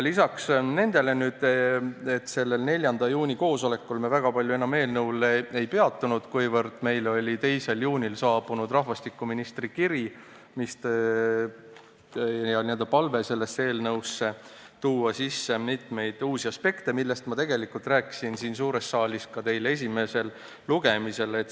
Lisaks nendele me sellel 4. juuni koosolekul väga palju enam eelnõul ei peatunud, kuna meile oli 2. juunil saabunud rahvastikuministri kiri, kus oli palve sellesse eelnõusse tuua sisse mitmeid uusi aspekte, millest ma rääkisin siin suures saalis teile esimesel lugemisel.